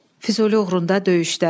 Füzuli uğrunda döyüşlər.